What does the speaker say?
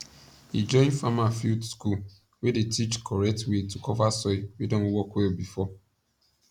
e join farmer field school wey dey teach correct way to cover soil wey don work well before